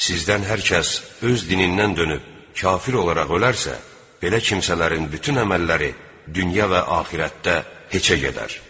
Sizdən hər kəs öz dinindən dönüb kafir olaraq ölərsə, belə kimsələrin bütün əməlləri dünya və axirətdə heçə gedər.